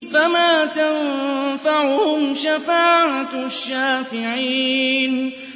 فَمَا تَنفَعُهُمْ شَفَاعَةُ الشَّافِعِينَ